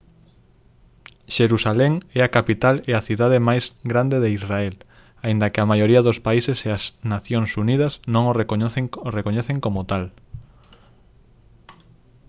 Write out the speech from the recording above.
xerusalén é a capital e a cidade máis grande de israel aínda que a maioría dos países e as nacións unidas non a recoñecen como tal